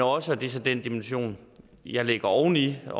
også og det er så den dimension jeg lægger oveni og